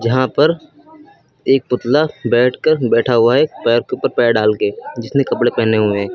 यहां पर एक पुतला बैठकर बैठा हुआ है पैर के ऊपर पैर डालके जिसने कपड़े पहने हुए हैं।